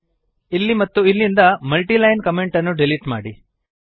ಇಲ್ಲಿ ಮತ್ತು ಇಲ್ಲಿಂದ ಮಲ್ಟಿಲೈನ್ ಕಮೆಂಟ್ ಅನ್ನು ಡಿಲೀಟ್ ಮಾಡಿ